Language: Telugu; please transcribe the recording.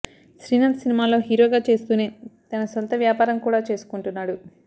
శ్రీనాథ్ సినిమాల్లో హీరోగా చేస్తూనే తన సొంత వ్యాపారం కూడా చేసుకుంటున్నాడు